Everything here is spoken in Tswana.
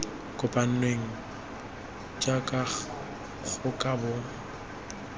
kopanngwe jaaka go ka bo